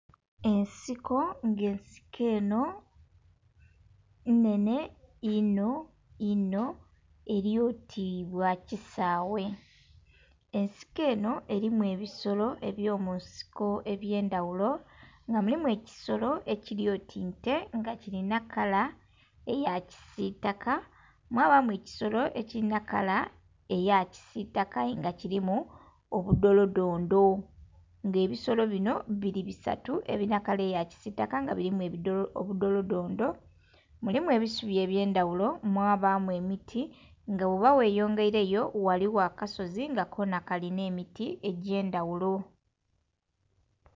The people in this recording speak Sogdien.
Ensiko, nga ensiko enho nnhenhe inho inho eli oti bwa kisaghe. Ensiko enho erimu ebisolo eby'omunsiko eby'endhaghulo nga mulimu ekisolo ekili oti nte nga kilina kala eya kisiitaka, mwabamu ekisolo nga kilina kala eya kisiitaka nga aye kilimu obudolodondo. Nga ebisolo binho bili bisatu ebilina kala eya kisiitaka nga bilimu obudolodondo, mulimu ebisubi eby'endhaghulo, mwabamu emiti nga bwoba gheyongeireyo ghaligho akasozi nga kalinha emiti egy'endhaghulo.